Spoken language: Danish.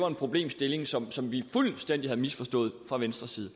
en problemstilling som som vi fuldstændig havde misforstået fra venstres side